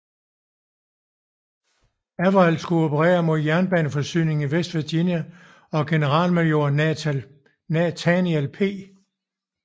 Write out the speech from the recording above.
Averell skulle operere mod jernbaneforsyningslinjer i West Virginia og generalmajor Nathaniel P